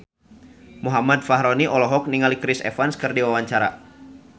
Muhammad Fachroni olohok ningali Chris Evans keur diwawancara